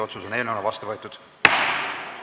Eelnõu on otsusena vastu võetud!